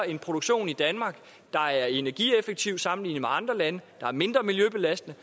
en produktion i danmark der er energieffektiv sammenlignet med andre lande der er mindre miljøbelastende